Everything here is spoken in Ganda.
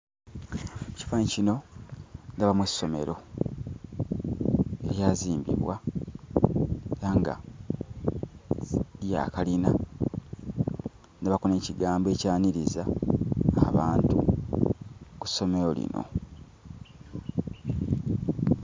Ekifaananyi kino ndabamu essomero eryazimbibwa era nga lya kalina. Ndabako n'ekigambo ekyaniriza abantu ku ssomero lino.